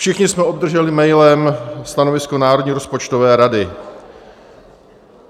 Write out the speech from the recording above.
Všichni jsme obdrželi mailem stanovisko Národní rozpočtové rady.